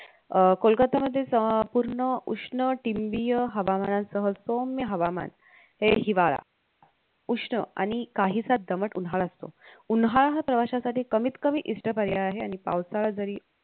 अह कोलकत्ता मधेच अं पूर्ण उष्ण तिंबीय हवामानासह सौम्य हवामान हे हिवाळा उष्ण आणि काहीसा दमात उन्हाळा असतो उन्हाळा हा प्रवाश्यांसाठी कमीतकमी इष्ट पर्याय आहे आणि पावसाळा जरी